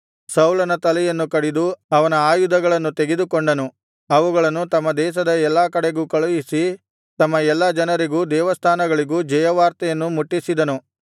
ಸೌಲನ ತಲೆಯನ್ನು ಕಡಿದು ಅವನ ಆಯುಧಗಳನ್ನು ತೆಗೆದುಕೊಂಡನು ಅವುಗಳನ್ನು ತಮ್ಮ ದೇಶದ ಎಲ್ಲಾ ಕಡೆಗೂ ಕಳುಹಿಸಿ ತಮ್ಮ ಎಲ್ಲ ಜನರಿಗೂ ದೇವಸ್ಥಾನಗಳಿಗೂ ಜಯವಾರ್ತೆಯನ್ನು ಮುಟ್ಟಿಸಿದರು